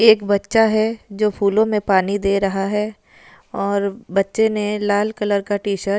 एक बच्चा है जो फूलो में पानी दे रहा है और बच्चे ने लाल कलर का टीशर्ट --